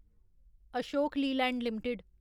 Ashok Leyland limited